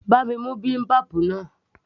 bá mi mú bibimbap